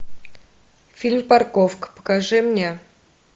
фильм парковка покажи мне